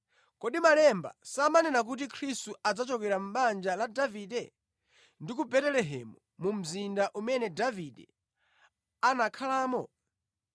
Kodi Malemba samanena kuti Khristu adzachokera mʼbanja la Davide, ndi ku Betelehemu mu mzinda umene Davide anakhalamo?”